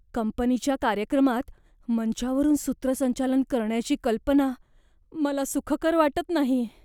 कंपनीच्या कार्यक्रमात मंचावरून सूत्रसंचालन करण्याची कल्पना मला सुखकर वाटत नाही.